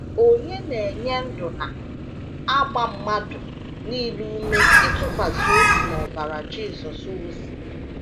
Onye Na - enye Ndụ na - agba mmadụ nile ume ịtụkwasị obi n’ọbara Jisọs wụsịrị.